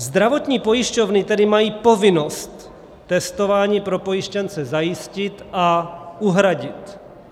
Zdravotní pojišťovny tedy mají povinnost testování pro pojištěnce zajistit a uhradit.